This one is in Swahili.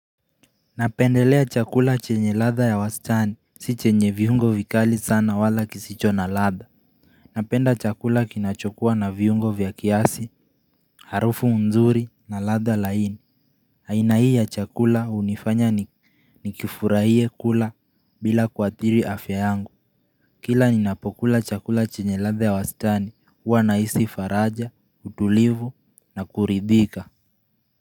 Napendelea chakula chenye latha ya wastani, si chenye viungo vikali sana wala kisicho na latha Napenda chakula kinachokuwa na viungo vya kiasi, harufu nzuri na latha laini aina hii ya chakula hunifanya nikifurahie kula bila kuathiri afya yangu Kila ninapokula chakula chenye latha ya wastani, huwa nahisi faraja, utulivu na kuridhika.